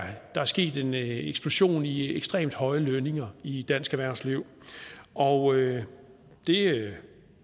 er sket en eksplosion i de ekstremt høje lønninger i dansk erhvervsliv og det